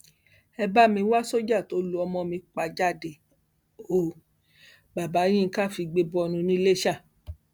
ẹ bá mi wá sọjà tó lu ọmọ mi pa jáde ó bàbá yinka figbe bọnu niléṣà